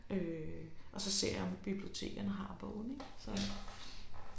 Øh og så ser jeg om bibliotekerne har bogen ik så